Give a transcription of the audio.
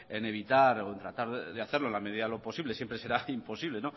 en evitar o en tratar de hacerlo en la medida de lo posible siempre será imposible